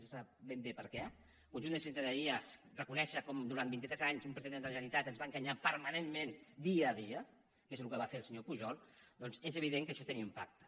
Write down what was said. no se sap ben bé per què al conjunt de la ciutadania reconèixer com durant vint i tres anys un president de la generalitat ens va enganyar permanentment dia a dia que és el que va fer el senyor pujol doncs és evident que això hi té un impacte